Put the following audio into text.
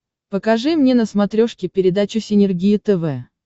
покажи мне на смотрешке передачу синергия тв